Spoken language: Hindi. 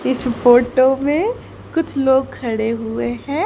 इस फोटो में कुछ लोग खड़े हुए है।